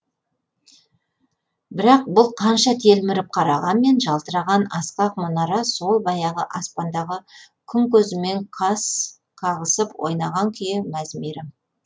бірақ бұл қанша телміріп қарағанмен жалтыраған асқақ мұнара сол баяғы аспандағы күн көзімен қас қағысып ойнаған күйі мәз мейрам